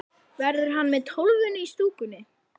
Verður hann með Tólfunni í stúkunni?